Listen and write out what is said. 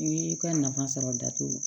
I y'i ka nafa sɔrɔ datugu